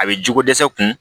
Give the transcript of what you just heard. A bɛ jogo dɛsɛ kun